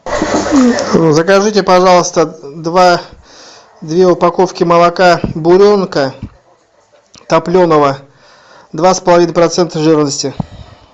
закажите пожалуйста два две упаковки молока буренка топленого два с половиной процента жирности